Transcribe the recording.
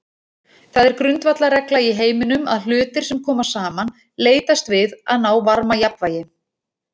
Það er grundvallarregla í heiminum að hlutir sem koma saman leitast við að ná varmajafnvægi.